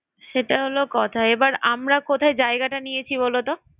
সেটা হলো কথা। এবার আমরা কোথায় জায়গাটা নিয়েছি বলতো।